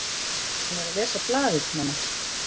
Hann er að lesa blaðið, mamma!